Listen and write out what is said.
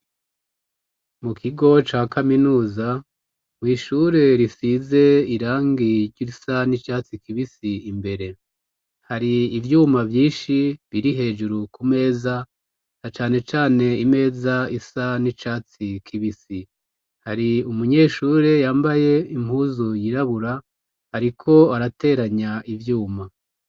Mu kigo ca kaminuza, mw'ishure risize irangi risa n'icatsi kibisi imbere. Hari ivyuma vyinshi biri hejuru ku meza, na cane cane imeza isa n'icatsi kibisi. Hari umunyeshure yambaye impuzu yirabura ariko arateranya ivyuma.